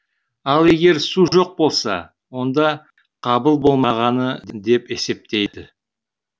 ал егер су жоқ болса онда қабыл болмағаны деп есептейді